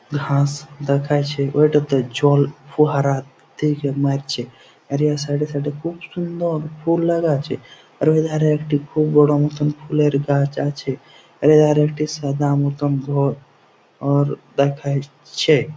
ঘাস দেখাইছে ওই টা তে জল ফোয়ারা দেখে নাচছে আর ওর সাইড এ সাইড এ খুব সুন্দর ফুল লাগা আছে আর ঐ ধারে একটি খুব বড় মতন ফুলের গাছ আছে আর এ ধারে একটি সাদা মতন ঘ-র দেখাইছে।